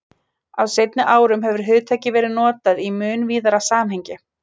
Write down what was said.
Á seinni árum hefur hugtakið verið notað í mun víðara samhengi.